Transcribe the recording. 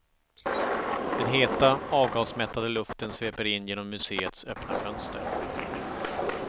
Den heta, avgasmättade luften sveper in genom museets öppna fönster.